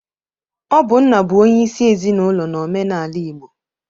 Ọ bụ nna bụ onyeisi ezinaụlọ n'omenaala Igbo.